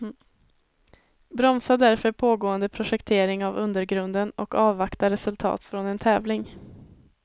Bromsa därför pågående projektering av undergrunden och avvakta resultat från en tävling.